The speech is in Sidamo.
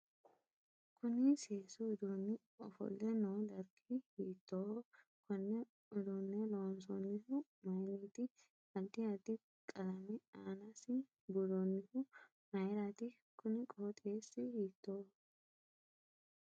Kunni seesu uduuni ofolle noo darggi hitooho konne uduune lonsoonihu mayiniiti addi addi qalame aanasi buuroonihu mayiirati kuni qoxeesi hiitooho